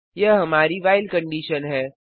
यह हमारी while condition है